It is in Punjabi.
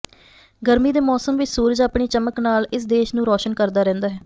ਗਰਮੀ ਦੇ ਮੌਸਮ ਵਿੱਚ ਸੂਰਜ ਆਪਣੀ ਚਮਕ ਨਾਲ ਇਸ ਦੇਸ਼ ਨੂੰ ਰੋਸ਼ਨ ਕਰਦਾ ਰਹਿੰਦਾ ਹੈ